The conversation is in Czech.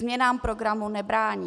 Změnám programu nebrání.